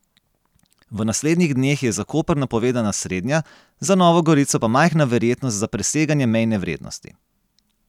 V naslednjih dneh je za Koper napovedana srednja, za Novo Gorico pa majhna verjetnost za preseganje mejne vrednosti.